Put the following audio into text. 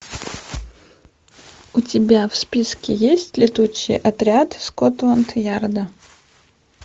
у тебя в списке есть летучий отряд скотланд ярда